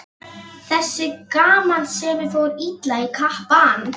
Þessi gamansemi fór illa í kappann.